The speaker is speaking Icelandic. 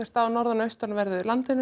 á norðan og austanverðu landinu